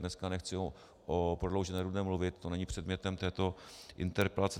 Dneska nechci o prodloužené Rudné mluvit, to není předmětem této interpelace.